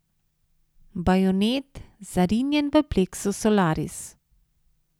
Bajonet, zarinjen v pleksus solaris.